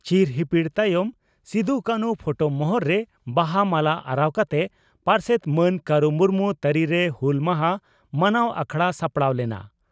ᱪᱤᱨ ᱦᱤᱯᱤᱲ ᱛᱟᱭᱚᱢ ᱥᱤᱫᱩᱼᱠᱟᱹᱱᱦᱩ ᱯᱷᱚᱴᱚ ᱢᱚᱦᱚᱨ ᱨᱮ ᱵᱟᱦᱟ ᱢᱟᱞᱟ ᱟᱨᱟᱣ ᱠᱟᱛᱮ ᱯᱟᱨᱥᱮᱛ ᱢᱟᱱ ᱠᱟᱨᱩ ᱢᱩᱨᱢᱩ ᱛᱟᱹᱨᱤᱨᱮ ᱦᱩᱞ ᱢᱟᱦᱟᱸ ᱢᱟᱱᱟᱣ ᱟᱠᱷᱲᱟ ᱥᱟᱯᱲᱟᱣ ᱞᱮᱱᱟ ᱾